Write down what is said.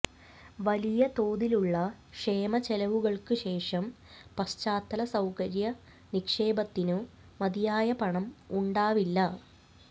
വലിയ തോതിലുള്ള ക്ഷേമ ചെലവുകൾക്കുശേഷം പശ്ചാത്തല സൌകര്യ നിക്ഷേപത്തിനു മതിയായ പണം ഉണ്ടാവില്ല